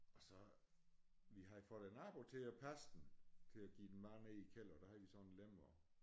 Og så vi havde fået æ nabo til at passe den til at give den mad nede i æ kælder der havde de sådan en lem og